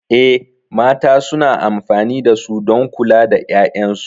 Eh, mata suna amfani da su don kula da 'ya'yansu.